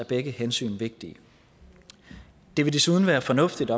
begge hensyn vigtige det vil desuden være fornuftigt